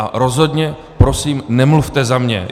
A rozhodně prosím nemluvte za mě.